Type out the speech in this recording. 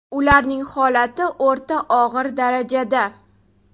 Ularning holati o‘rta og‘ir darajada.